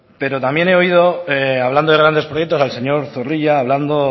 pero también he oído hablando de grandes proyectos al señor zorrilla hablando